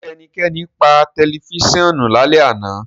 Ṣe ẹnikẹni paa si pa tẹlifisiọnu lalẹ ana?